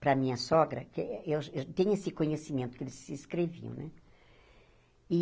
para a minha sogra, porque eu eu tenho esse conhecimento, que eles se escreviam, né?